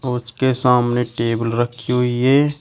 उसके सामने टेबल रखी हुई है।